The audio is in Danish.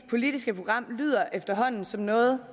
politiske program lyder efterhånden som noget